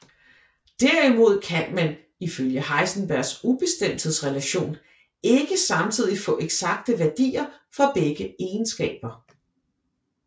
Derimod kan man ifølge Heisenbergs ubestemthedsrelation ikke samtidig få eksakte værdier for begge egenskaber